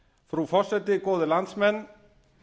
frú forseti góðir landsmenn